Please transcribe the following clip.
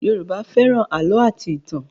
Yoruba fẹ́ràn àlọ́ àti ìtàn